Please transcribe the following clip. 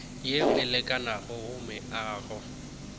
yeo e lekanego go meago